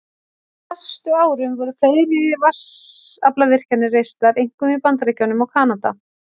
Á næstu árum voru fleiri vatnsaflsvirkjanir reistar, einkum í Bandaríkjunum og Kanada.